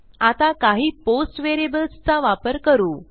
आता काही पोस्ट व्हेरिएबल्सचा वापर करू